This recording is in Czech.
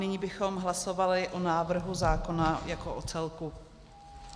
Nyní bychom hlasovali o návrhu zákona jako o celku.